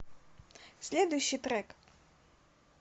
следующий трек